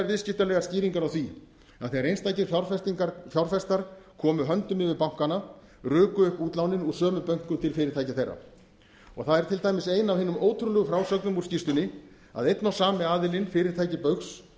viðskiptalegar skýringar á því að þegar einstakir fjárfestar komu höndum yfir bankana ruku upp útlánin úr sömu bönkum til fyrirtækja þeirra það er til dæmis ein af hinum ótrúlegu frásögnum úr skýrslunni að einn og sami aðilinn fyrirtæki baugs